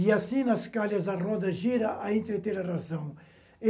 E assim nas calhas a roda gira a entretera razão.